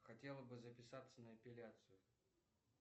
хотела бы записаться на эпиляцию